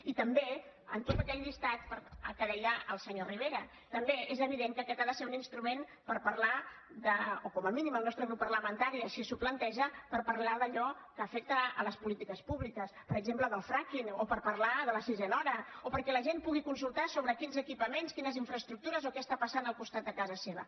i també en tota aquella llista que deia el senyor rivera també és evident que aquest ha de ser un instrument per parlar o com a mínim el nostre grup parlamentari així s’ho planteja d’allò que afecta les polítiques públiques per exemple del fracking o per parlar de la sisena hora o perquè la gent pugui consultar sobre quins equipaments quines infraestructures o què està passant al costat de casa seva